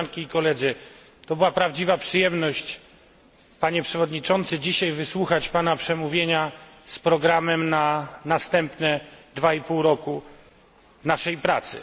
To była prawdziwa przyjemność, panie przewodniczący, dzisiaj wysłuchać pana przemówienia z programem na następne dwa i pół roku naszej pracy.